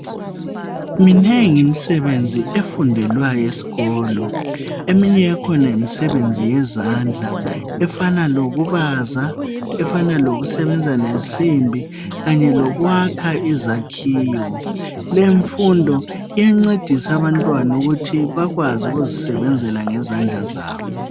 Minengi imsebenzi efundelwayo eskolo, eminye yakhona yimisebenzi yezandla efana lokubaza, efana lokusebenza lensimbi kanye lokwakha izakhiwo. Lemfundo iyancedisa abantwana ukuthi bakwazi ukuzisebenzela ngezandla zabo.